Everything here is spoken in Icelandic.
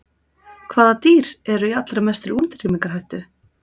Hvaða dýr eru í allra mestri útrýmingarhættu?